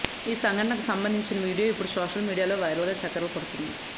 ఈ ఘటనకు సంబంధించిన వీడియో ఇప్పుడు సోషల్ మీడియాలో వైరల్గా చక్కర్లు కొడుతోంది